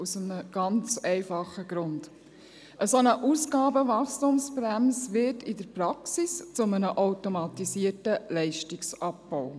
Dies aus einem ganz einfachen Grund: Eine solche Ausgabenwachstumsbremse wird in der Praxis zu einem automatisierten Leistungsabbau.